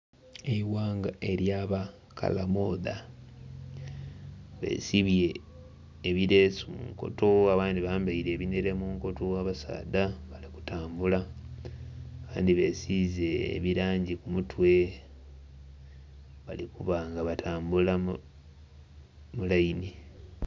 Eighanga erya bakalamodha, besibye ebireesu munkoto abandhi bambaire ebinhere munkoto abasaadha bali kutambula, abandhi besiize ebirangi ku mutwe bali kubanga batambula mu laini.